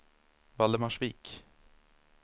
Valdemarsvik